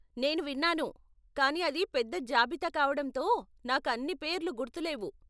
నేను విన్నాను, కానీ అది పెద్ద జాబితా కావడంతో నాకు అన్నీ పేర్లు గుర్తు లేవు.